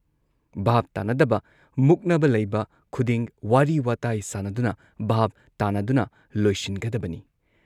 ꯚꯥꯕ ꯇꯥꯟꯅꯗꯕ, ꯃꯨꯛꯅꯕ ꯂꯩꯕ ꯈꯨꯗꯤꯡ ꯋꯥꯔꯤ ꯋꯥꯇꯥꯏ ꯁꯥꯟꯅꯗꯨꯅ ꯚꯥꯕ ꯇꯥꯟꯅꯗꯨꯅ ꯂꯣꯏꯁꯤꯟꯒꯗꯕꯅꯤ ꯫